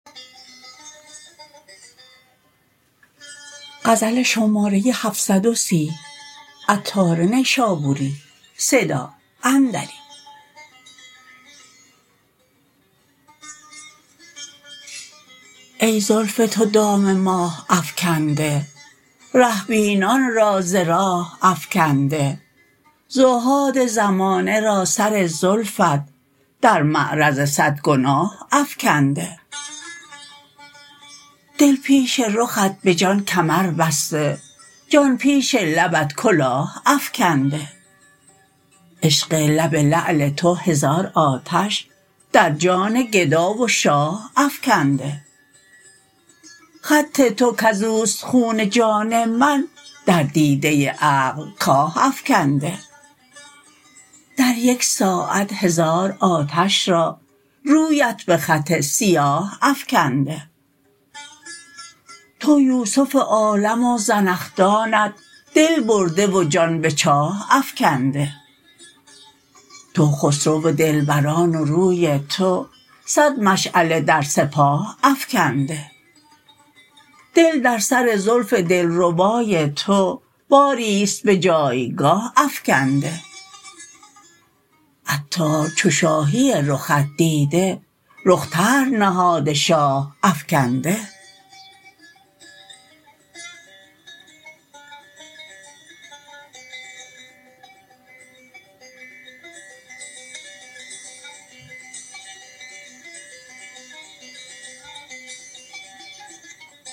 ای زلف تو دام ماه افکنده ره بینان را ز راه افکنده زهاد زمانه را سر زلفت در معرض صد گناه افکنده دل پیش رخت به جان کمر بسته جان پیش لبت کلاه افکنده عشق لب لعل تو هزار آتش در جان گدا و شاه افکنده خط تو کزوست خون جان من در دیده عقل کاه افکنده در یک ساعت هزار آتش را رویت به خط سیاه افکنده تو یوسف عالم و زنخدانت دل برده و جان به چاه افکنده تو خسرو دلبران و روی تو صد مشعله در سپاه افکنده دل در سر زلف دلربای تو باری است به جایگاه افکنده عطار چو شاهی رخت دیده رخ طرح نهاده شاه افکنده